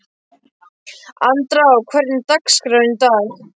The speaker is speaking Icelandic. Andrá, hvernig er dagskráin í dag?